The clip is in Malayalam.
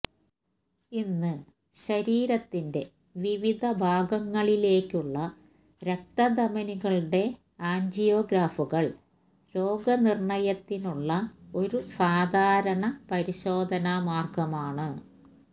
ഇന്ന് ശരീരത്തിന്റെ വിവിധ ഭാഗങ്ങളിലേക്കുള്ള രക്തധമനികളുടെ ആൻജിയോഗ്രാഫുകൾ രോഗനിർണയത്തിനുള്ള ഒരു സാധാരണ പരിശോധനാമാർഗ്ഗമാണ്